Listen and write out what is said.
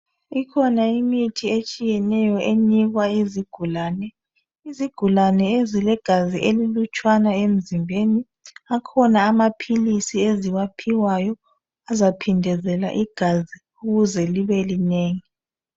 Ikhona imithi etshiyeneyo enikwa izigulane, izigulane ezilegazi elilutshwana emizimbeni akhona amaphilizi eziwaphiwayo azaphindezela igazi ukuze libelinengi.